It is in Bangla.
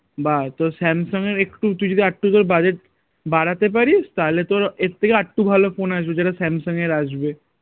বা তোর স্যামসাঙ এর একটু তুই যদি একটু তোর budget বাড়াতে পারিস তাহলে তোর এর থেকে আর একটু ভালো phone আসবে যেটা স্যামসাঙ এর আসবে